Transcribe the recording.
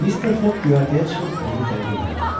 Mr. Foq göyərtəyə çıxıb özünü təqdim elədi.